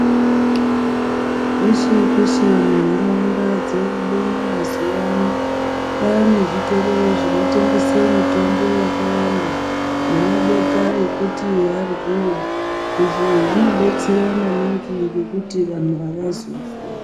Peshe peshe munharaunda dzeuno mazuwano kwane zvitoro zvinotengese mitombo yakawanda nemabota ekuti aryiwe, izvi zvinodetsera maningi ngekuti vanhu avazofi.